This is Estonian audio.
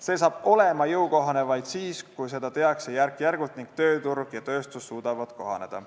See on jõukohane vaid siis, kui seda tehakse järk-järgult ning tööturg ja tööstus suudavad kohaneda.